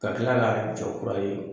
Ka kila ka jɔ kura ye.